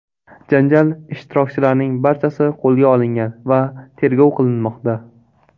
Janjal ishtirokchilarining barchasi qo‘lga olingan va tergov qilinmoqda.